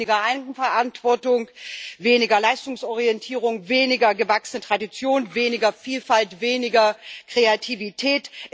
weniger Eigenverantwortung, weniger Leistungsorientierung, weniger gewachsene Tradition, weniger Vielfalt, weniger Kreativität.